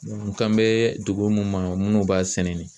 n kan bɛ dugu mun ma, munnu b'a sɛnɛ